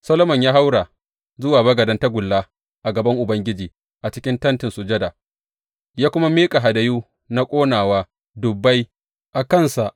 Solomon ya haura zuwa bagaden tagulla a gaban Ubangiji a cikin Tentin Sujada, ya kuma miƙa hadayu na ƙonawa dubbai a kansa.